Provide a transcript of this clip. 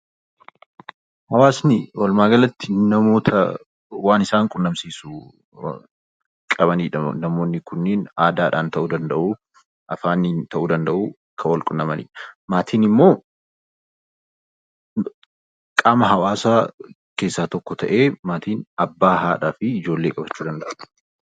Hawaasni walumaa galatti namoota waan isaan quunnamsiisuu qabaniidha. Namoonni kunniin aadaadhaan tahuu danda'u, afaaaniin tahuu danda'u Kan Wal quunnamanidha. Maatiin immoo qaama hawaasaa keessaa tokko tahee maatiin abbaa, haadhaa fi ijoollee qabachuu danda'a.